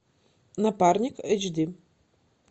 напарник эйч ди